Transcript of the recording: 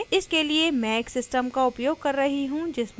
Linux operating system Ubuntu version 1104